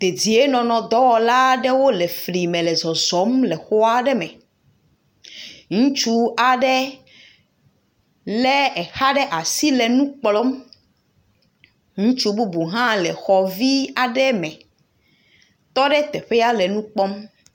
Ddienɔnɔdɔwɔla aɖewo le fli me le zɔzɔm le xɔ aɖe me. Ŋutsu aɖe le exa ɖe asi le nu kplɔm. Ŋutsu bubu hã le xɔ vi aɖe me tɔɖe teƒea nɔ nu kpɔm.